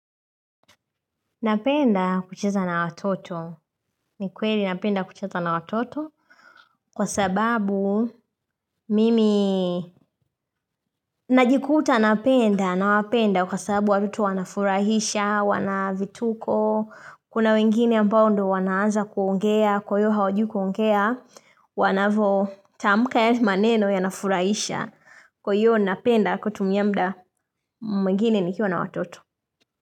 Napenda kucheza na watoto, ni kweli napenda kucheza na watoto Kwa sababu mimi najikuta napenda nawapenda kwa sababu watoto wanafurahisha, wana vituko Kuna wengine ambao ndo wanaaza kuongea, kwa hiyo hawajui kuongea Wanavyotamuka yale maneno yanafurahisha Kwa hiyo napenda kutumia muda mwingine nikiwa na watoto.